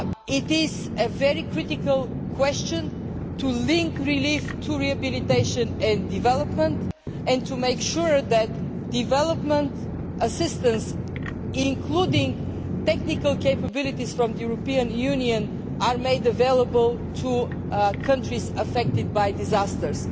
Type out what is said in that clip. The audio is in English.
It is a very critical question to link relief to rehabilitation and development and to make sure that development assistance, including technical capabilities from the European Union, is made available to countries affected by disasters.